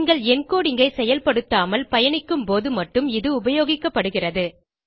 நீங்கள் என்கோடிங் ஐ செயல்பாடுத்தாமல் பயணிக்கும் போது மட்டும் இது உபயோகிப்படுகிறது